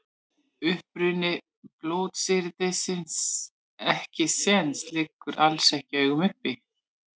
Uppruni blótsyrðisins ekkisens liggur alls ekki í augum uppi.